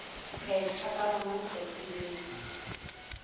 phethwa ka lona letšatši leo